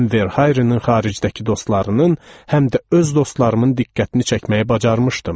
Həm Verharenin xaricdəki dostlarının, həm də öz dostlarımın diqqətini çəkməyi bacarmışdım.